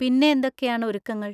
പിന്നെ എന്തൊക്കെയാണ് ഒരുക്കങ്ങൾ?